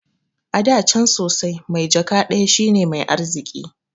Ada can sosai, mai jaka ɗaya shine mai arziki